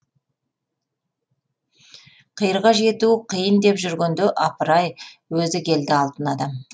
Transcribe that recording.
қиырға жету қиын деп жүргенде апырай өзі келді алтын адам